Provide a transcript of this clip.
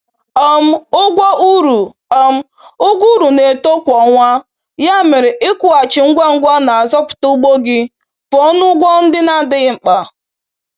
um Ụgwọ uru um Ụgwọ uru na-eto kwa ọnwa, ya mere ịkwụghachi ngwa ngwa na-azọpụta ugbo gị pụọ na ụgwọ ndị na-adịghị mkpa.